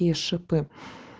и шипы